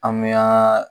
An bɛ an